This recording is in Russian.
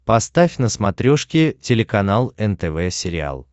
поставь на смотрешке телеканал нтв сериал